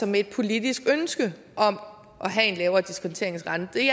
med et politisk ønske om at have en lavere diskonteringsrente det